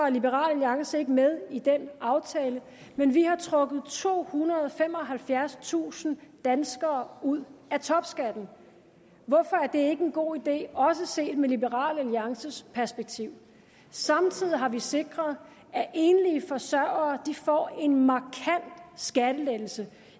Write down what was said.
liberal alliance ikke med i den aftale men vi har trukket tohundrede og femoghalvfjerdstusind danskere ud af topskatten hvorfor er det ikke en god idé også set i liberal alliances perspektiv samtidig har vi sikret at enlige forsørgere får en markant skattelettelse